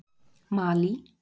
Malí